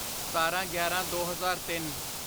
ਸਤਾਰਾਂਗਿਆਰਾਂਦੋ ਹਜ਼ਾਰ ਤਿੰਨ